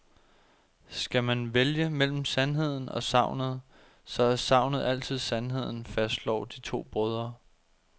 Skal man vælge mellem sandheden og sagnet, så er sagnet altid sandheden, fastslår de to brødre.